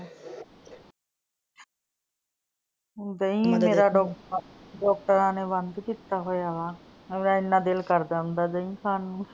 ਦਹੀਂ ਮੇਰਾ ਡਾਕਟਰਾਂ ਨੇ ਬੰਦ ਕੀਤਾ ਹੋਇਆ ਵਾ। ਇੰਨਾ ਦਿਲ ਕਰਦਾ ਹੁੰਦਾ ਦਹੀਂ ਖਾਨ ਨੂੰ।